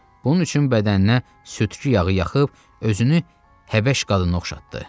Bunun üçün bədəninə südkü yağı yaxıb özünü Həbəş qadına oxşatdı.